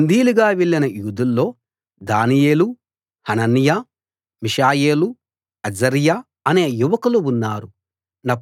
బందీలుగా వెళ్ళిన యూదుల్లో దానియేలు హనన్యా మిషాయేలు అజర్యా అనే యువకులు ఉన్నారు